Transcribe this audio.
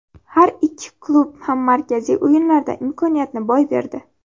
Har ikki klub ham markaziy o‘yinlarda imkoniyatni boy berdi.